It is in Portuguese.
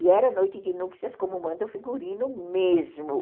E era noite de núpcias como manda o figurino mesmo.